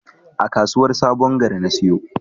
A kasuwar sabon gari na siyo.